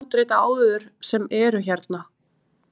Heimir: Hefur þú séð þessi gömlu handrit áður sem eru hérna?